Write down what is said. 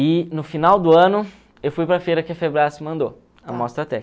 E no final do ano eu fui para a feira que a mandou